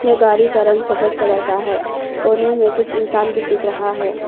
ये गाड़ी का रंग सफेद कलर का है कोने में कुछ इंसान भी दिख रहा है।